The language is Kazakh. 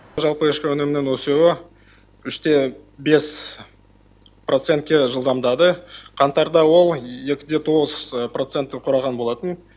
жалпы ішкі өнімнің өсуі үш те бес процентке жылдамдады қаңтарда ол екі де тоғыз процентті құраған болатын